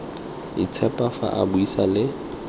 itshepa fa a buisa le